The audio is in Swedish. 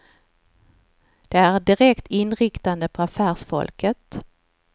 De är direkt inriktade på affärsfolket.